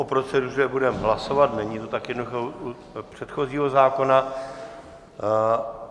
O proceduře budeme hlasovat, není to tak jednoduché u předchozího zákona.